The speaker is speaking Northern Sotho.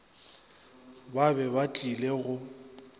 ba be ba tlile go